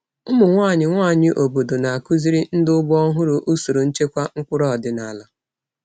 Ụmụ nwanyị nwanyị obodo na-akụziri ndị ugbo ọhụrụ usoro nchekwa mkpụrụ ọdịnala.